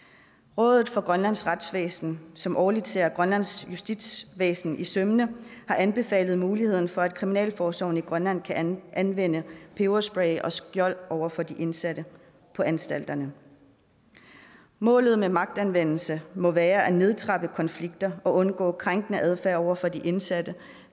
rådet for grønlands retsvæsen som årligt ser grønlands justitsvæsen efter i sømmene har anbefalet muligheden for at kriminalforsorgen i grønland kan anvende peberspray og skjold over for de indsatte på anstalterne målet med magtanvendelse må være at nedtrappe konflikter og undgå krænkende adfærd over for de indsatte